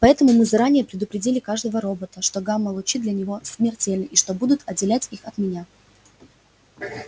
поэтому мы заранее предупредили каждого робота что гамма-лучи для него смертельна и что они будут отделять их от меня